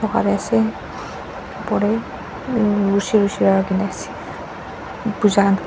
pare ase upor teh ase puja khan.